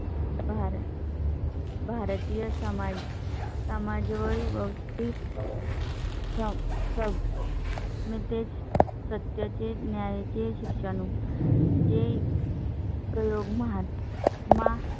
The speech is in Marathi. भार. भारतीय समाज समाज वळ. चा सब. मग तेच सत्या ची न्याया ची शिक्षा नऊ. चे प्रयोग महात्मा.